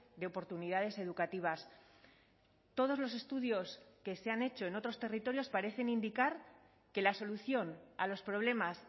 de oportunidades educativas todos los estudios que se han hecho en otros territorios parecen indicar que la solución a los problemas